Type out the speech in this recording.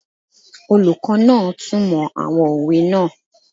Olùkọ́ náà túnmọ̀ àwọn òwe náà